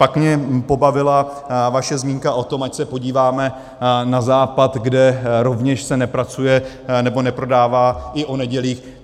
Pak mě pobavila vaše zmínka o tom, ať se podíváme na Západ, kde se rovněž nepracuje, nebo neprodává i o nedělích.